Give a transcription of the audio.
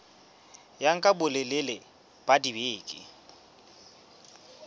ya nka bolelele ba dibeke